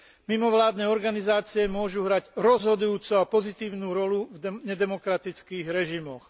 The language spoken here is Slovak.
Mimovládne organizácie môžu hrať rozhodujúcu a pozitívnu rolu v nedemokratických režimoch.